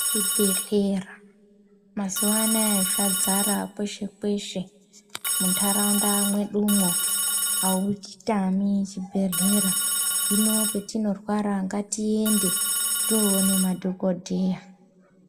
Zvibhedhlera mazuvanaya zvadzara kweshe kweshe, mundaraunda mwedumwo, auchitami chibhehlera hino patinorwara ngatiende tinoona madhokodheya.